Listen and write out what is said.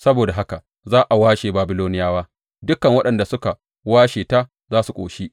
Saboda haka za a washe Babiloniyawa; dukan waɗanda suka washe ta za su ƙoshi,